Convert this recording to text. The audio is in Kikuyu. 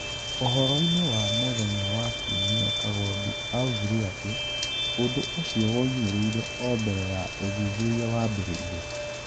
Ũhoro-inĩ wa mũthenya wa Kiumia kagondu augĩre atĩ : "Ũndũ ũcio woimĩrire o na mbere ya ũthuthuria wambĩrĩrie